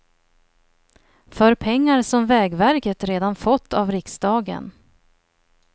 För pengar som vägverket redan fått av riksdagen.